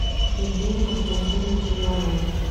евгения константиновича иванова